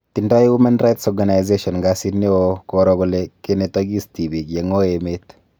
Tindoi Women Rights Organisation kasit neoo koro kole kenetokis tibiik yeng'oi emet